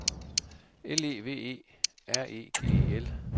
L E V E R E G E L